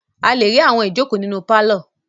A le rí àwọn ìjókòó nínú pálọ̀.